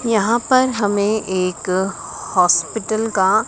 यहां पर हमें एक हॉस्पिल का--